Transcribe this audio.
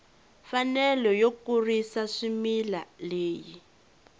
mfanelo yo kurisa swimila leyi